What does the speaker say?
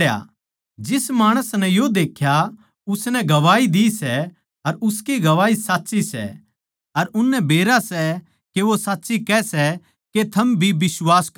जिस माणस नै यो देख्या उसनै गवाही दी सै अर उसकी गवाही साच्ची सै अर उननै बेरा सै के वो साच्ची कह सै के थम भी बिश्वास करो